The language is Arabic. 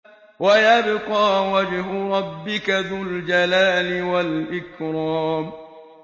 وَيَبْقَىٰ وَجْهُ رَبِّكَ ذُو الْجَلَالِ وَالْإِكْرَامِ